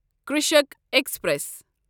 Krishak express